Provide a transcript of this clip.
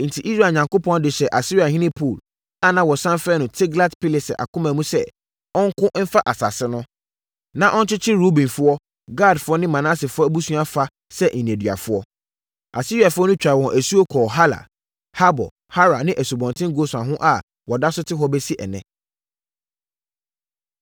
Enti, Israel Onyankopɔn de hyɛɛ Asiriahene Pul (a na wɔsane frɛ no Tiglat-Pileser) akoma mu sɛ ɔnko mfa asase no, na ɔnkyekyere Rubenfoɔ, Gadfoɔ ne Manasefoɔ abusua fa sɛ nneduafoɔ. Asiariafoɔ no twaa wɔn asuo kɔɔ Halah, Habor, Hara ne Asubɔnten Gosan ho a wɔda so te hɔ bɛsi ɛnnɛ.